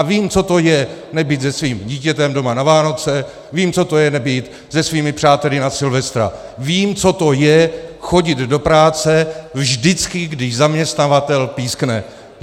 A vím, co to je nebýt se svým dítětem doma na Vánoce, vím, co to je nebýt se svými přáteli na Silvestra, vím, co to je chodit do práce vždycky, když zaměstnavatel pískne.